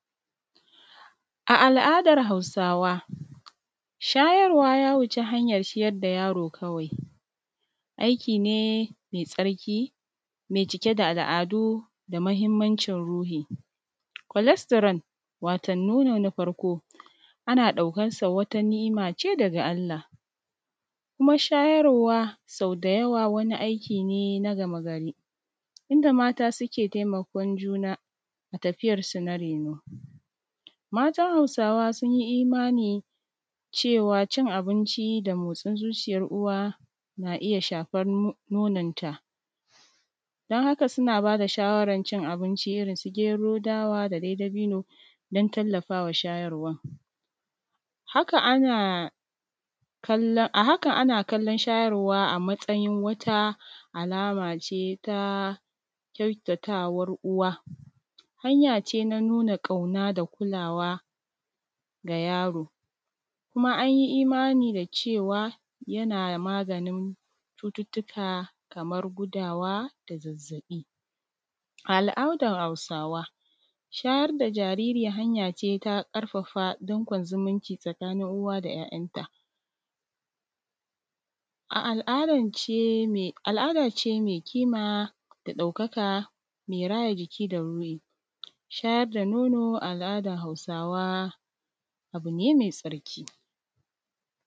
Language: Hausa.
A al’adar hausawa. Shayarwa ya wuci ciyar da yaro kawai. aikine mai tsarki. Mai cike da al’adu, da mahimmanchin ruhi. Cholesterol, wato nono na farko. Ana daukansa wata niˀimace daga Allah. Kuma shayarwa sau dayawa, wani aikine na game gari. Inda mata suke taimakon juna, a tafiyarsu na raino. Matan hausawa sunyi imani. Cewa cin abinci da motsin zuciyar uwa. Na iya shafan nononta. Don haka suna bada shawarar cin abinci, irin su gero dawa. Da dai dabino don tallafawa shayarwar. Haka ana kallon, ahaka ana kallon shayarwa. A matsayin wata alamace. Ta kyautatawar uwa. Hanyace na nuna kauna da kulawa ga yaro. Kuma anyi imani da cewa. Yana maganin cututtuka. Kamar gudawa, da zazzabi. A al’adar hausawa, shayar da jariri. Hanyace ta ƙarfafa don kon zumunci. Tsakanin uwa da ˀyaˀyan ta. A al’adance, al’adace me kima. Da daukaka mai raya jiki da ruhi. Shayar da nono al’adar hausawa, abune mai tsarki.